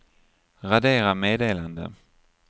radera meddelande